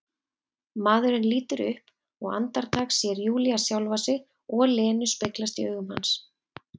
Maðurinn lítur upp og andartak sér Júlía sjálfa sig og Lenu speglast í augum hans.